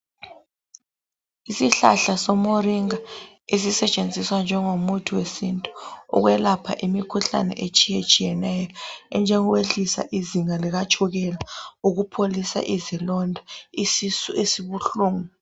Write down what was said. Isihlahla soMoringa esisetshenziswa njengomuthi wesintu ukwelapha imikhuhlane etshiyatshiyeneyo enjengokwehlisa izinga likatshukela, ukupholisa izilonda lesisu esibuhlungu.